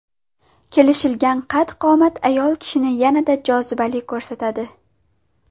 Kelishgan qad-qomat ayol kishini yanada jozibali ko‘rsatadi.